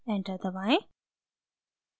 enter दबाएं